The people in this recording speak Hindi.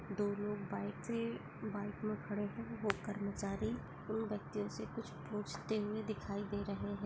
दोनों लोग बाइक पे बाइक में खड़े है वो कर्मचारी उन वक्तियो से कुछ पूछते हुए दिखाए दे रहे है।